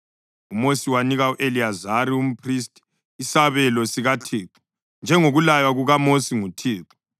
UMosi wanika u-Eliyazari umphristi isabelo sikaThixo, njengokulaywa kukaMosi nguThixo.